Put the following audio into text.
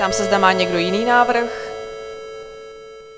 Ptám se, zda má někdo jiný návrh?